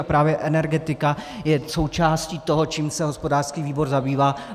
A právě energetika je součástí toho, čím se hospodářský výbor zabývá.